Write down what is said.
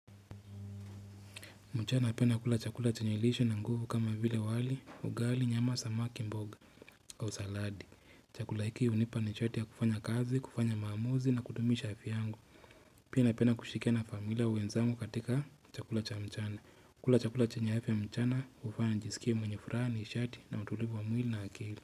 Mchana napenda kula chakula chenye lishe na nguvu kama vile wali, ugali, nyama, samaki, mboga kwa usaladi, chakula hiki hunipa nishati ya kufanya kazi, kufanya maamuzi na kudumish afya yangu Pia napenda kushirikiana na familia wenzangu katika chakula cha mchana. Kula chakula chenye afya mchana hufanya nijisikie mwenye furaha, nishati na utulivu wa mwili na akili.